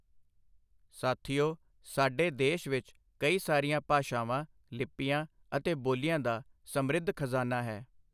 ਸਾਥੀਓ, ਸਾਡੇ ਦੇਸ਼ ਵਿੱਚ ਕਈ ਸਾਰੀਆਂ ਭਾਸ਼ਾਵਾਂ, ਲਿਪੀਆਂ ਅਤੇ ਬੋਲੀਆਂ ਦਾ ਸਮ੍ਰਿੱਧ ਖਜ਼ਾਨਾ ਹੈ।